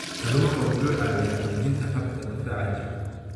Kalluunku wuxuu caawiyaa xoojinta habka difaaca jirka.